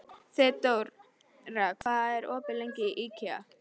Þeódóra, hvað er opið lengi í IKEA?